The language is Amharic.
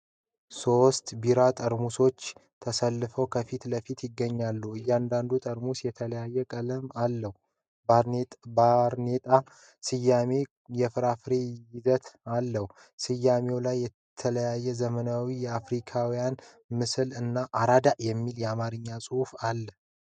ሶስት ቢራ ጠርሙሶች ተሰልፈው ከፊት ለፊት ይገኛሉ። እያንዳንዱ ጠርሙስ የተለያየ ቀለም ያለው ባርኔጣ፣ ስያሜና የፍራፍሬ ይዘት አለው። በስያሜዎቹ ላይ የተለያዩ ዘመናዊ የአፍሪካውያን ምስሎች እና "አራዳ" የሚል የአማርኛ ጽሑፍ አለ።